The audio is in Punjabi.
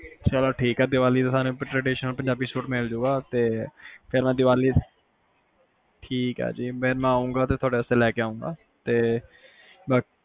ਚਲੋ ਠੀਕ ਆ ਦੀਵਾਲੀ ਤੇ ਤੁਹਾਨੂੰ ਪੰਜਾਬੀ traditional suit ਮਿਲ ਜੂਗਾ ਫੇਰ ਮੈਂ ਦੀਵਾਲੀ ਠੀਕ ਆ ਜੀ ਮੈਂ ਆਉਣ ਲੱਗਾ ਤੁਹਾਡੇ ਲਈ ਲੈ ਕੇ ਆਊਂਗਾ